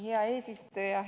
Hea eesistuja!